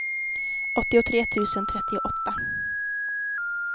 åttiotre tusen trettioåtta